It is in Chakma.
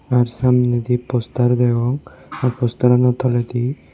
ar samnedi poster degong aa postarano toledi.